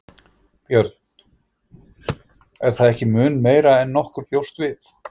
Björn: Er það ekki mun meira en nokkur bjóst við?